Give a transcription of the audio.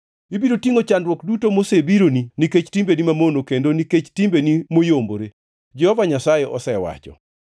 Ibiro tingʼo chandruok duto mosebironi nikech timbeni mamono kendo nikech timbeni moyombore, Jehova Nyasaye osewacho.